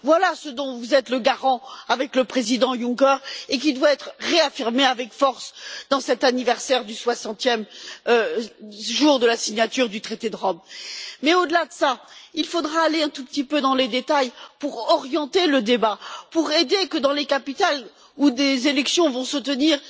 Voilà ce dont vous êtes le garant, avec le Président Juncker, et qui doit être réaffirmé avec force à l'occasion du 60e anniversaire de la signature du traité de Rome. Mais au delà de ça, il faudra entrer un tout petit peu dans les détails pour orienter le débat, pour contribuer à ce que dans les capitales où des élections vont se tenir,